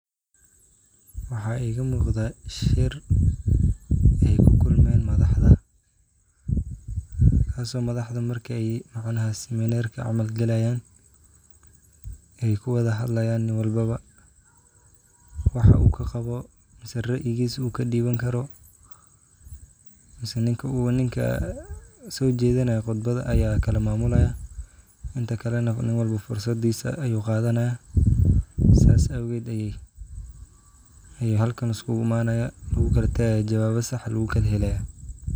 Waxa igamuqda shiir ey kukulmayan madaxda markey siminar galayan ey kuwada kulman oo kuhadayan niin walbo mise raayigisa uu kadiwani karo niin walbo mise ninka sojedinayo qudbada aya kalawarejinaya sidas awged aya halkan laiskugu imanaya oo lugukalatagaya oo swajo sax an lugukala helaya.